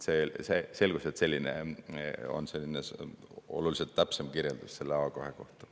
Selgus, et selline on oluliselt täpsem kirjeldus A2 kohta.